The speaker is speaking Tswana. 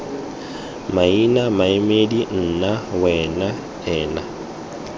maina maemedi nna wena ena